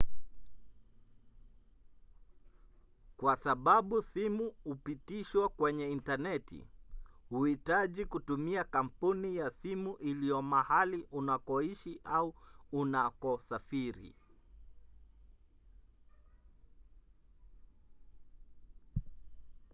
kwa sababu simu hupitishwa kwenye intaneti huhitaji kutumia kampuni ya simu iliyo mahali unakoishi au unakosafiri